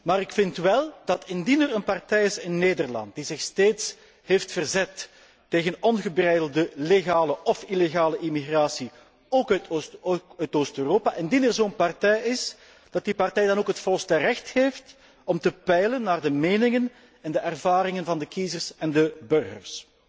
Maar ik vind wel dat indien er in Nederland een partij is die zich steeds heeft verzet tegen ongebreidelde legale of illegale immigratie, ook uit Oost Europa, indien er zo'n partij is, dat die partij dan ook het volste recht heeft om te peilen naar de meningen en de ervaringen van de kiezers en de burgers.